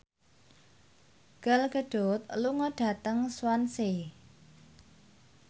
Gal Gadot lunga dhateng Swansea